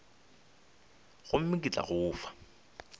gomme ke tla go fa